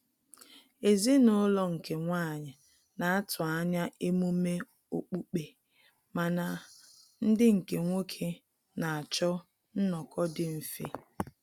Ezinaulo nke nwanyi na-atụ anya emume okpukpe mana ndị nke nwoke na-achọ nnọ́kọ dị mfe